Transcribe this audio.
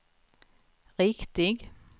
riktig